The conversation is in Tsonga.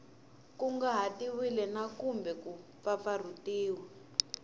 kunguhatiwile na kumbe ku pfapfarhutiwa